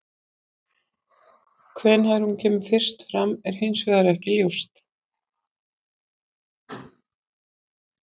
Hvenær hún kemur fyrst fram er hins vegar ekki ljóst.